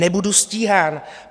Nebudu stíhán.